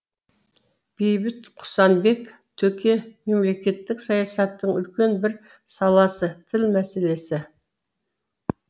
бейбіт құсанбек төке мемлекеттік саясаттың үлкен бір саласы тіл мәселесі